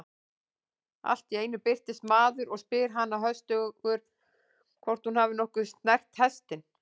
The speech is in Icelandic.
Allt í einu birtist maður og spyr hana höstugur hvort hún hafi nokkuð snert hestinn.